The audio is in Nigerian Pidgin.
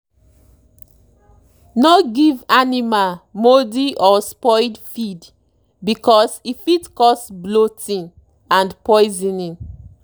no give animal mouldy or spoiled feed because e fit cause bloating and poisoning.